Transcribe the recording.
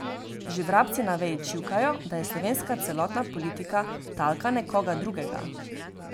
Že vrabci na veji čivkajo, da je slovenska celotna politika talka nekoga drugega.